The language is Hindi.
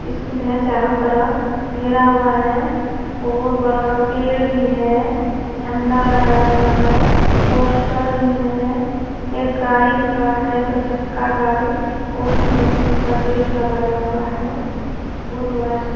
स्कूल है चारो तरफ घेरा हुआ है बहुत बड़ा-बड़ा पेड भी है झंडा लगाया हुआ है पोस्टर भी है एक गाड़ी खड़ा है दो चक्का गाड़ी और बस मासा गेट लगाया हुआ है बहुत बड़ा स्कू--